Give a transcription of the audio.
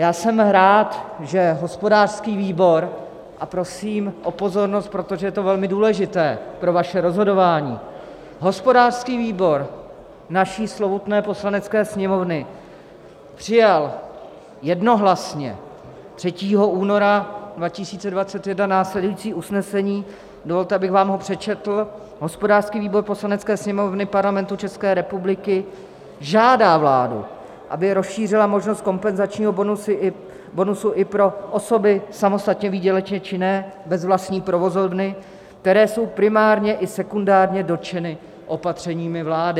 Já jsem rád, že hospodářský výbor - a prosím o pozornost, protože je to velmi důležité pro vaše rozhodování - hospodářský výbor naší slovutné Poslanecké sněmovny přijal jednohlasně 3. února 2021 následující usnesení, dovolte, abych vám ho přečetl: "Hospodářský výbor Poslanecké sněmovny Parlamentu České republiky žádá vládu, aby rozšířila možnost kompenzačního bonusu i pro osoby samostatně výdělečně činné bez vlastní provozovny, které jsou primárně i sekundárně dotčeny opatřeními vlády."